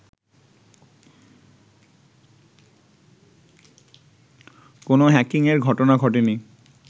কোনও হ্যাকিংয়ের ঘটনা ঘটেনি